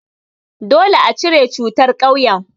Dole a cire cutar a ƙauyen.